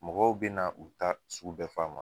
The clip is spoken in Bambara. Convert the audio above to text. Mɔgɔw be na u ta sugu bɛɛ f'a ma